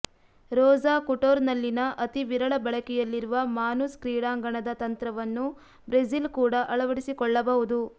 Rosa ಖುಟೊರ್ನಲ್ಲಿನ ಅತಿ ವಿರಳ ಬಳಕೆಯಲ್ಲಿರುವ ಮಾನುಸ್ ಕ್ರೀಡಾಂಗಣದ ತಂತ್ರವನ್ನು ಬ್ರೆಜಿಲ್ ಕೂಡ ಅಳವಡಿಸಿಕೊಳ್ಳಬಹುದು